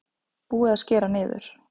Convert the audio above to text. Búið að skera niður